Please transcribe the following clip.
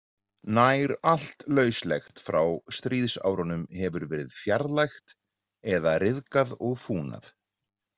Nær allt lauslegt frá stríðsárunum hefur verið fjarlægt eða ryðgað og fúnað.